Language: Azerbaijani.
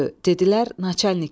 Dedilər naçalnik gəlir.